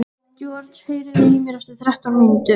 George, heyrðu í mér eftir þrettán mínútur.